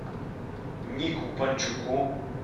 нику панчуку